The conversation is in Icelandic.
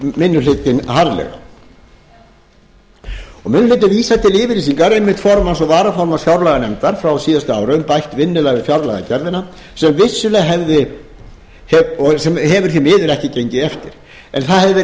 minni hlutinn harðlega minni hlutinn vísar til yfirlýsingar formanns og varaformanns fjárlaganefndar frá síðasta ári um bætt vinnulag við fjárlagagerðina sem hefur því miður ekki gengið eftir en það hefur því miður